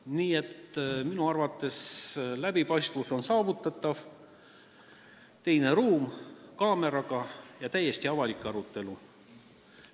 Nii et minu arvates on läbipaistvus saavutatav: teine ruum kaameraga ja täiesti avalik arutelu.